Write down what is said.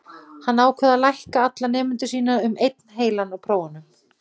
Hann ákvað að lækka alla nemendur sína um einn heilan á prófunum.